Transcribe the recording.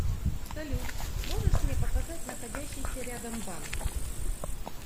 салют можешь мне показать находящийся рядом банк